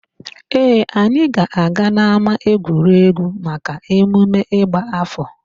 Ee, anyị ga-aga n'ámáegwuregwu maka emume ịgba áfọ̀.